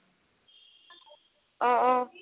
অ' অ'